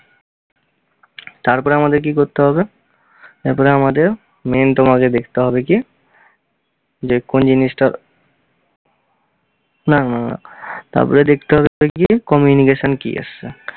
তারপরে আমাদের কী করতে হবে? তারপরে আমাদের main তোমাকে দেখতে হবে কী যে কোন জিনিসটা না না না না না তারপরে দেখতে হবে কী communication কি এসছে।